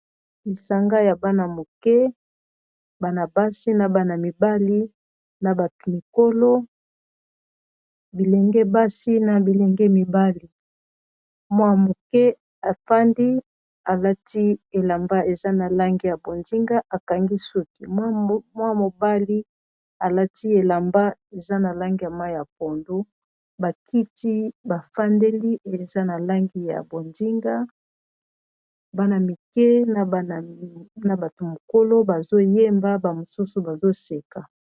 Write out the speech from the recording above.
lisanga ya bana moke, bana basi ,na bana mibali, na bâtu mikolo ,bilenge basi, na bilenge mibali ,mwa moke afandi alati elamba eza na langi ya bonzinga akangi suki mwa mobali alati elamba eza na langi ya mayi ya pondu bakiti bafandeli eza na langi ya bozinga bana mike na bato mokolo bazo yemba ba mosusu bazo seka.